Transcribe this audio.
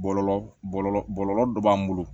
Bɔlɔlɔ bɔlɔlɔ bɔlɔlɔ dɔ b'an bolo